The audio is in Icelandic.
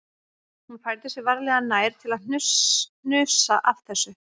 Hún færði sig varlega nær til að hnusa af þessu